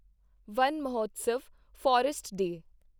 one Mahotsav forest day